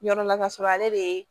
Yɔrɔ la kasɔrɔ ale de ye